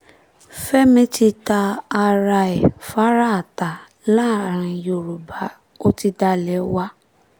fẹ́mi ti ta ara ẹ̀ faraata láàrin yorùbá ó ti dalẹ̀ wá